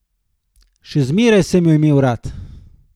Še zmeraj sem jo imela rada.